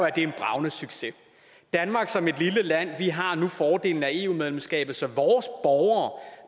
at det er en bragende succes danmark som et lille land har nu fordelen af eu medlemskabet så